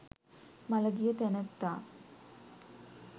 මළගිය තැනැත්තා